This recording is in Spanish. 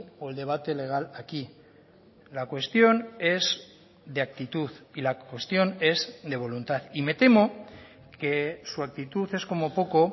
o el debate legal aquí la cuestión es de actitud y la cuestión es de voluntad y me temo que su actitud es como poco